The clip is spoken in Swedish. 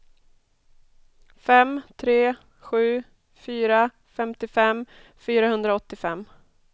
fem tre sju fyra femtiofem fyrahundraåttiofem